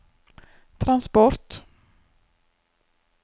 transport